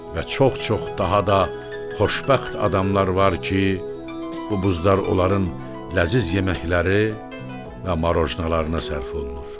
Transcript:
Və çox-çox daha da xoşbəxt adamlar var ki, bu buzlar onların ləziz yeməkləri və marojnallarına sərf olunur.